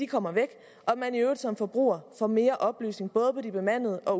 kommer væk og at man i øvrigt som forbruger får mere oplysning på både de bemandede og